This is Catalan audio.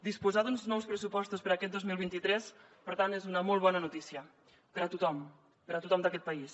disposar d’uns nous pressupostos per a aquest dos mil vint tres per tant és una molt bona notícia per a tothom per a tothom d’aquest país